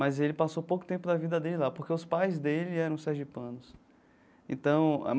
Mas ele passou pouco tempo da vida dele lá, porque os pais dele eram sergipanos então.